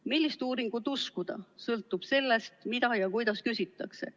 Millist uuringut uskuda, sõltub sellest, mida ja kuidas küsitakse.